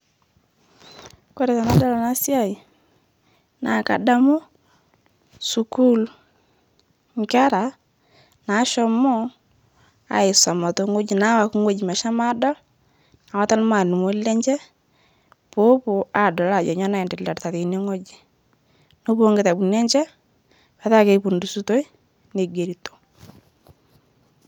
Kore tanadol ana siai naa kadamu skul, nkera nashomo aisoma teng'oj nawaki ng'oji meshomo aadol nawata lmaalimoni lenche, poopo aadol ajo nyo naendelearita teine ng'oji, nepo okitabuni enche petaa keipudusutoi negerito.